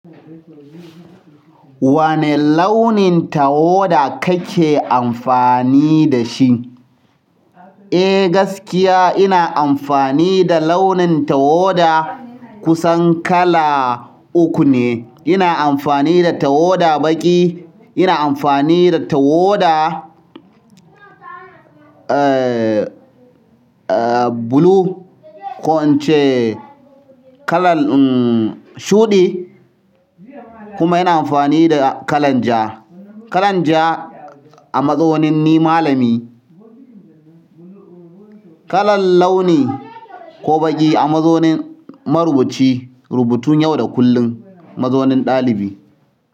Wani launin tawada kake amfani da shi? Eh gaskiya ina amfani da launin tawada kusan kala uku ne. Ina amfani da tawada baƙi, ina amfani da tawada, eh, eh blue ko ince kalan, hmm shuɗi kuma ina amfani da kalan ja. Kalan ja a mazonin ni malami. Kalan launi ko baƙi a mazonin marubuci. Rubutun yau da kullum masonin ɗalibi.